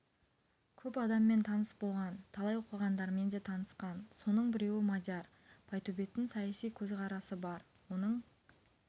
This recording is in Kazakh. көп адаммен таныс болған талай оқығандармен де танысқан соның біреуі мадияр байтөбеттің саяси көзқарасы бар оның